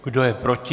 Kdo je proti?